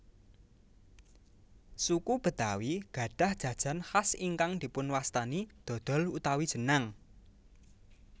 Suku Betawi gadhah jajan khas ingkang dipunwastani dhodhol utawi jenang